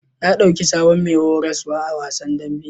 Ya ɗauki sabon mai horaswa a wasan dambe.